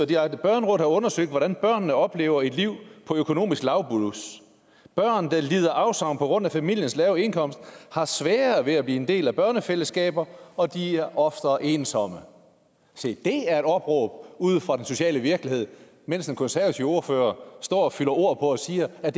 direkte børnerådet har undersøgt hvordan børnene oplever et liv på økonomisk lavblus børn der lider afsavn på grund af familiens lave indkomst har sværere ved at blive en del af børnefællesskaber og de er oftere ensomme se det er et opråb ude fra den sociale virkelighed mens den konservative ordfører står og fylder ord og siger at